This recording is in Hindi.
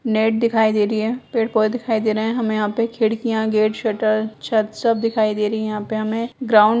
नेट दिखाई दे रही है पेड़-पोधे दिखाई दे रहें हैं हमें यहाँ पे खिड़कियाँ गेट शटर छत सब दिखाई दे रही है यहाँ पे हमें ग्राउंड --